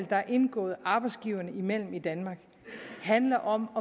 der er indgået arbejdsgiverne imellem i danmark handler om